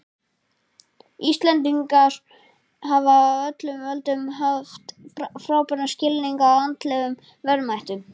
Íslendingar hafa á öllum öldum haft frábæran skilning á andlegum verðmætum.